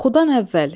Oxudan əvvəl.